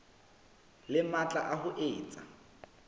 le matla a ho etsa